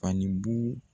Fani bugu